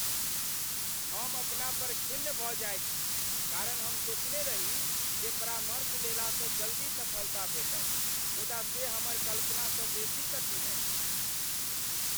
हम अपना पर खिन्न भऽ जाइत छी कारण हम सोचने रही जे परामर्श लेलासँ जल्दी सफलता भेटत मुदा से हमर कल्पनासँ बेसी कठिन अछि।